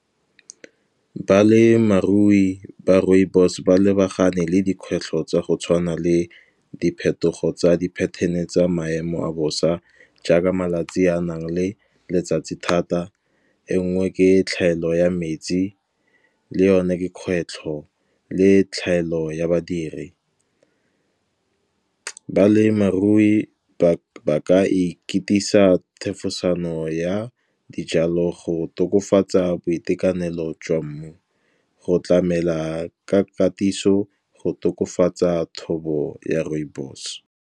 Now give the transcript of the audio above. Balemirui ba rooibos ba lebagane le dikgwetlho tsa go tshwana le diphetogo tsa di-pattern-e tsa maemo a bosa. Jaaka malatsi a nang le letsatsi thata a e ngwe ke tlhaelo ya metsi, le yone kgwetlho le tlhaelo ya badiri. Balemarui ba ka ikatisa thefosano ya dijalo go tokafatsa boitekanelo jwa mmu, go tlamela ka katiso go tokafatsa thobo ya rooibos.